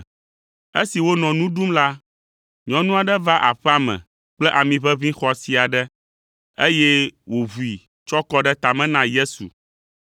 Esi wonɔ nu ɖum la, nyɔnu aɖe va aƒea me kple ami ʋeʋĩ xɔasi aɖe, eye wòʋui tsɔ kɔ ɖe tame na Yesu.